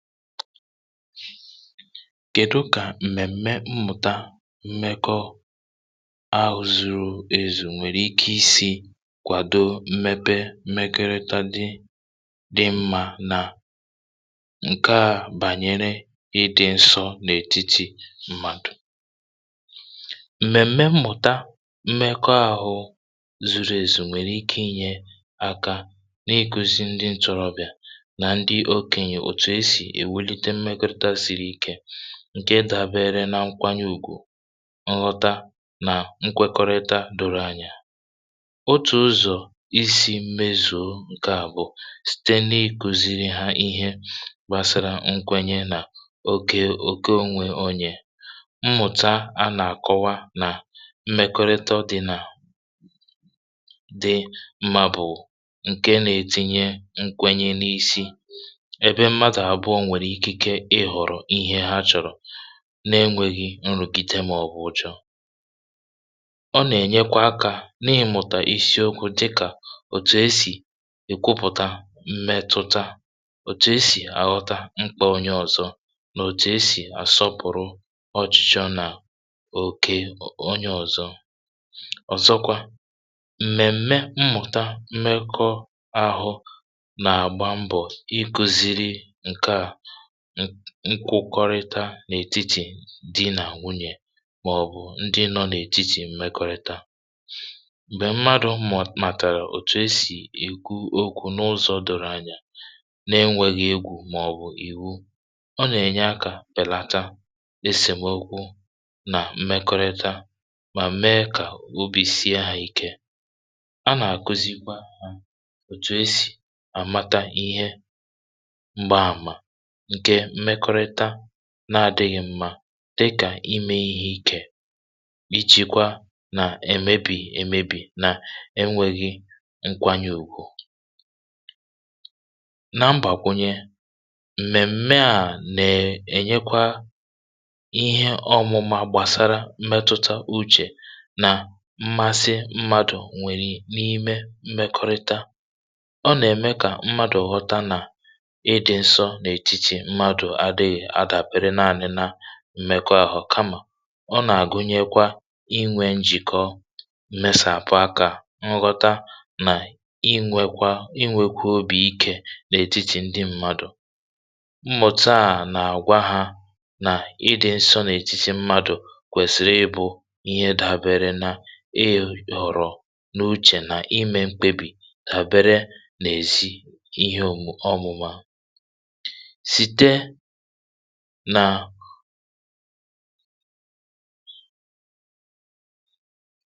kèdu kà m̀mèm̀me mmụ̀ta mmekọ ahụ̇ zuru èzu nwèrè ike isi̇ kwàdo mmepe mmekọrịta dị dị mmȧ nà ǹke à bànyere ịdị̇ nsọ n’ètiti mmadụ̀? m̀mèm̀me mmụ̀ta mmekọ ȧhụ̇ zuru èzu nwèrè ike inyė aka n’ikuzi ndị ntȯrọ̇bị̀à ǹkè dàbere na nkwanye ùgwù, nlọta nà nkwekọrịta dòrò anyà. otù ụzọ̀ isi̇ mmezùo ǹkè à bụ̀ site n’ikùzìrì hà ihe gbàsara nkwenye nà ogė òke ònwè onye. mmụ̀ta a nà-àkọwa nà mmèkọrịta dị̇ nà dị, mà bụ̀ ǹkè nà-ètinye nkwenye n’isi, ihè ha chọ̀rọ̀ n’enwėghi̇ nrùkite, màọbụ̀ uchọ̇. ọ nà-ènyekwa akȧ n’ịmụ̀tà isiokwu̇ dịkà òtù e sì èkwupụ̀ta mmetụta, òtù e sì àghọta mkpa onye ọ̇zọ̇, nà òtù e sì àsọpụ̀rụ ọchịchọ nà òkè onye ọ̀zọ. ọ̀zọkwa m̀mèm̀me mmụ̀ta mmekọ ahụ̇ nà-àgba mbọ̀ iku̇ziri nkwụkọrịta n’ètitì di nà nwunyè, màọ̀bụ̀ ndi nọ n’ètitì mmekọ̇rị̇ta. m̀gbè mmadụ̀ màtàrà òtù esì èkwu okwu̇ n’ụzọ̇ doro anya n’enwėghi̇ egwù, màọ̀bụ̀ ìwu, ọ nà-ènye akȧ pèlata esèm egwu nà mmekọrịta, mà mee kà obì sie hȧ ike. a nà-àkuzikwa ha òtù esì àmata ihe na-àdịghị̇ mmȧ, dịkà imė ihe ikè, ijìkwa nà èmebì èmebì, na enwėghi nkwȧnyị̇ ògwù na mbàgwụnye. m̀mèm̀mè à nèè ènyekwa ihe ọmụ̇mȧ gbàsara mmetuta uchè nà mmasị mmadù nwèrè n’ime mmekọrịta. ọ nà-ème kà mmadù ghọta nà adàpere naanị̇ na mmekọ ahụ̀, kamà ọ nà-àgụnyekwa inwė njìkọ, mesàpụ akȧ nghọta, nà inwėkwa inwėkwa obì ikė n’ètitì ndi mmadụ̀. mmụ̀ta à nà-àgwa hȧ nà ị dị̇ nsọ n’ètiti mmadụ̀ kwèsìrì ịbụ̇ ihe dàbere na ei̇ yọ̀rọ̀ n’uchè, na imė mkpebì dàbere nà èzi ihe ọ̀mụ̀ma.